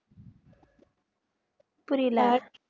புரியல